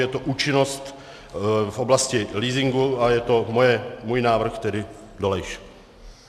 Je to účinnost v oblasti leasingu a je to můj návrh, tedy Dolejš.